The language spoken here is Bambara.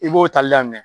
I b'o tali daminɛ